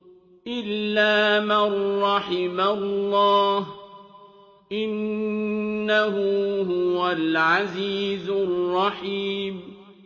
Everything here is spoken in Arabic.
إِلَّا مَن رَّحِمَ اللَّهُ ۚ إِنَّهُ هُوَ الْعَزِيزُ الرَّحِيمُ